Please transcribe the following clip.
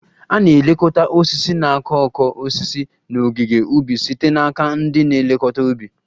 A na-elekọta osisi na okooko osisi n'ogige ubi site n'aka ndị na-elekọta ubi